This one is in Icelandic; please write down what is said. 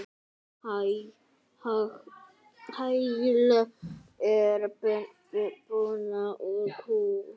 Hagl er buna úr kú.